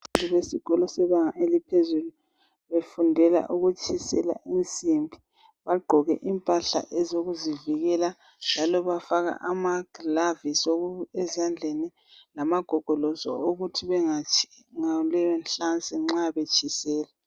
Abantu besikolo sebanga eliphezulu befundela ukutshisela insimbi bagqoke impahla ezokuzivikela njalo bafaka amaglavisi ezandleni lamagogolosi okuthi bangatshi ngaleyo nhlansi nxa betshisela.